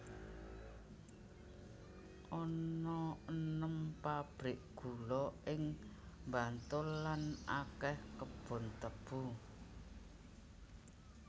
Ana enem pabrik gula ing Bantul lan akèh kebon tebu